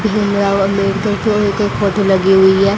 भीमराव अंबेडकर के एक फोटो लगी हुई है।